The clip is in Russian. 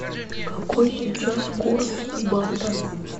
какой сейчас курс бата